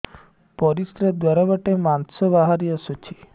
ପରିଶ୍ରା ଦ୍ୱାର ବାଟେ ମାଂସ ବାହାରି ଆସୁଛି